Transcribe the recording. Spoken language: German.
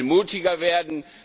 Wir müssen viel mutiger werden.